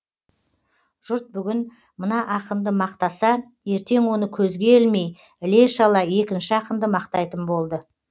жұрт бүгін мына ақынды мақтаса ертең оны көзге ілмей іле шала екінші ақынды мақтайтын болды